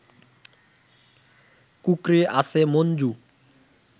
কুঁকড়ে আছে মঞ্জু